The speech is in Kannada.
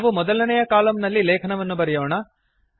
ನಾವು ಮೊದಲನೇಯ ಕಲಮ್ ನಲ್ಲಿ ಲೇಖನವನ್ನು ಬರೆಯೋಣ